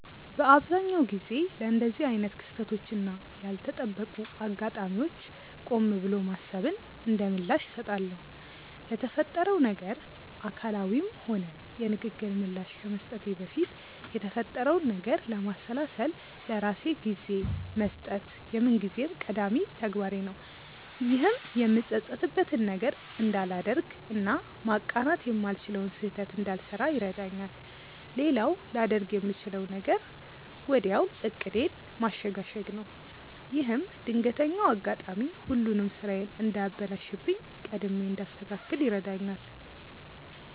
በአብዛኛው ጊዜ ለእንደዚህ አይነት ክስተቶች እና ያልተጠበቁ አጋጣሚዎች ቆም ብሎ ማሰብን እንደምላሽ እሰጣለሁ። ለተፈጠረው ነገር አካላዊም ሆነ የንግግር ምላሽ ከመስጠቴ በፊት የተፈጠረውን ነገር ለማሰላሰል ለራሴ ጊዜ መስጠት የምንጊዜም ቀዳሚ ተግባሬ ነው። ይህም የምጸጸትበትን ነገር እንዳላደርግ እና ማቃናት የማልችለውን ስህተት እንዳልሰራ ይረዳኛል። ሌላው ላደርግ የምችለው ነገር ወዲያው ዕቅዴን ማሸጋሸግ ነው። ይህም ድንገተኛው አጋጣሚ ሁሉንም ስራዬን እንዳያበላሽብኝ ቀድሜ እንዳስተካክል ይረዳኛል።